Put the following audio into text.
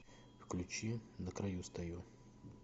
включи на краю стою